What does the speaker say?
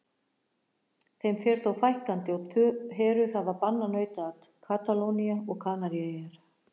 Þeim fer þó fækkandi og tvö héröð hafa bannað nautaat, Katalónía og Kanaríeyjar.